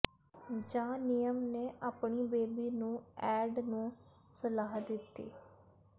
ਜਾ ਨਿਯਮ ਨੇ ਆਪਣੀ ਬੇਬੀ ਨੂੰ ਐਡ ਨੂੰ ਸਲਾਹ ਦਿੱਤੀ